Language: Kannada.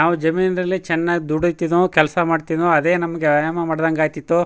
ನಾವು ಜಮೀನ್ ದಲ್ಲಿ ಚನ್ನಾಗಿ ದುಡಿತ್ತಿದುವು ಕೆಲ್ಸ್ ಮಾಡತ್ತಿದುವು ಅದೆ ನಮ್ಮಗೆ ವ್ಯಾಯಾಮ ಮಾಡದಂಗೆ ಆಯ್ತಿತು.